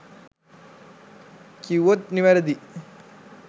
කිව්වොත් නිවැරදි